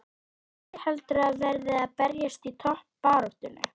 Hvaða lið heldurðu að verði að berjast í toppbaráttunni?